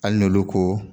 Hali n'olu ko